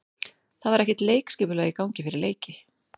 Það var ekkert leikskipulag í gangi fyrir leiki.